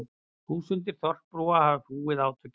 Þúsundir þorpsbúa hafa flúið átökin